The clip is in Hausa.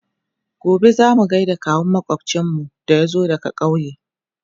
gobe zamuje gaida kawun makwafcinmu da ya zo daga ƙauye